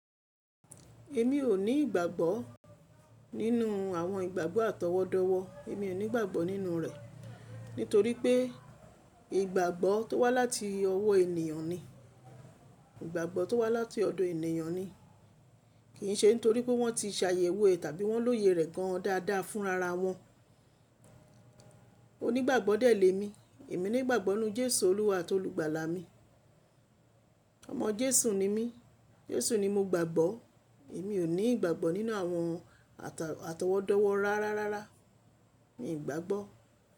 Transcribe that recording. Èmi ò ní ìgbàgbọ́ nínú àwọn ìgbàgbọ́ àtọwọ́dọ́wọ́. Èmi ò ní ìgbàgbọ́ nínú rẹ̀, nítorí pé ìgbàgbọ́ tó wá láti ọwọ́ ènìyàn ni, ìgbàgbọ́ tó wá láti ọ̀dọ̀ ènìyàn ni, kìn ṣe nítorí pé wọ́n ti ṣàyẹ̀wò ẹ̀ tàbí wọ́n lóye rẹ̀ gan dàda fúnrara wọn. Onígbàgbọ́ dèlé mi. Èmi ni ìgbàgbọ́ ninú Jésù Olúwa àti Olùgbàlà mi. Ọmọ Jésù ni mí, Jésù ni mo gbàgbọ́. Èmi ò ní ìgbàgbọ́ nínú àwọn a- àtọwọ́dọ́wọ́ rárárárára. Mi ò gbàgbọ́